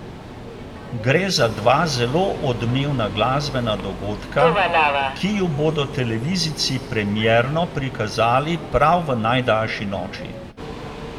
Gre za dva zelo odmevna glasbena dogodka, ki ju bodo televizijci premierno prikazali prav v najdaljši noči.